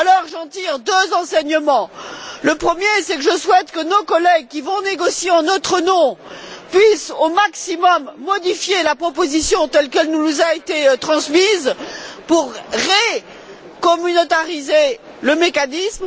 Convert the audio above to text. J'en tire deux enseignements le premier, c'est que je souhaite que nos collègues qui vont négocier, en notre nom, puissent au maximum modifier la proposition, telle qu'elle nous a été transmise, pour recommunautariser le mécanisme.